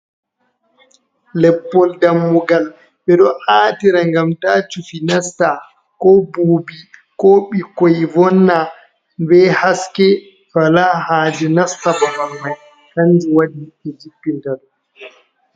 Leppol dammugal ɓeɗo a'tira ngam ta cufi nasta ko bubi ko ɓikkoi vonna be haske wala haaje nasta babal mai hanju waɗi ɓe jibpin taɗum.